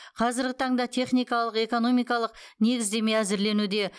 қазіргі таңда техникалық экономикалық негіздеме әзірленуде